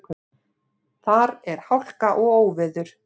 Þar er hálka og óveður.